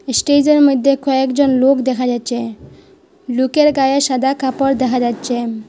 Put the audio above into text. Stage -এর মইধ্যে কয়েকজন লোক দেখা যাচ্ছে লুকের গায়ে সাদা কাপড় দেখা যাচ্ছে।